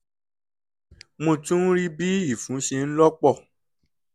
mo tún ń rí bí ìfun ṣe ń lọ́ pọ̀